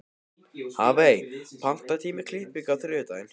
Hafey, pantaðu tíma í klippingu á þriðjudaginn.